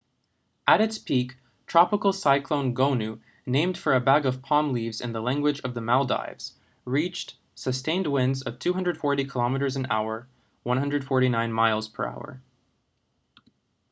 at its peak tropical cyclone gonu named for a bag of palm leaves in the language of the maldives reached sustained winds of 240 kilometers an hour 149 miles per hour